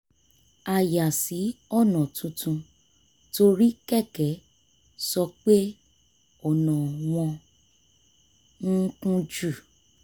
a yà sí ọ̀nà tuntun torí kẹ̀kẹ́ sọ pé ọ̀nà wọ̀n-ún kún jù